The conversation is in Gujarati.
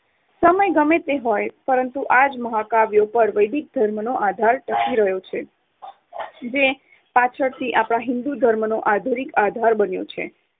સમય ગમે તે હોય પરંતુ આ જ મહાકાવ્યો પર વૈદિક ધર્મનો આધાર ટકી રહ્યો છે જે પાછળથી હિંદુ ધર્મનો આધુનિક આધાર બન્યો છે.